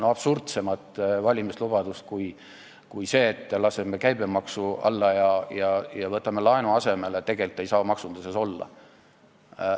Absurdsemat valimislubadust kui see, et laseme käibemaksu alla ja võtame laenu asemele, ei saa maksunduses tegelikult olla.